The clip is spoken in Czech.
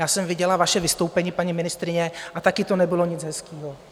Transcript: Já jsem viděla vaše vystoupení, paní ministryně, a taky to nebylo nic hezkého.